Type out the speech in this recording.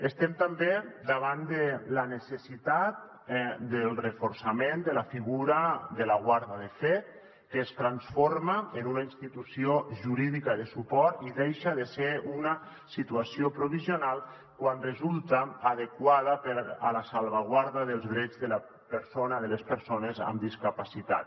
estem també davant de la necessitat del reforçament de la figura de la guarda de fet que es transforma en una institució jurídica de suport i deixa de ser una situació provisional quan resulta adequada per a la salvaguarda dels drets de les persones amb discapacitat